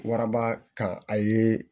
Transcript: Waraba kan a ye